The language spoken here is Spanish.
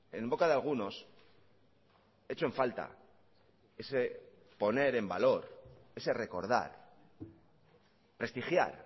en boca de algunos echo en falta ese poner en valor ese recordar prestigiar